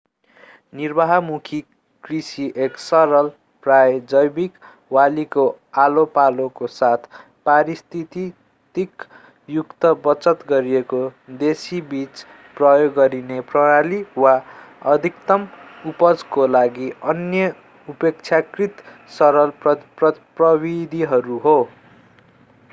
निर्वाहमुखी कृषि एक सरल प्राय जैवीक बालीको आलोपालोको साथ पारिस्थितिक युक्त बचत गरिएको देशी बीज प्रयोग गरिने प्रणाली वा अधिकतम उपजको लागि अन्य अपेक्षाकृत सरल प्रविधिहरू हो